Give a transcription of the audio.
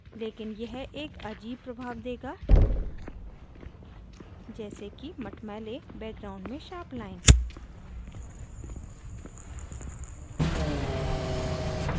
लेकिन यह एक अजीब प्रभाव देगा जैसे कि मटमैले background में sharp line